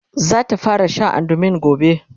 zata fara Sha andumin gobe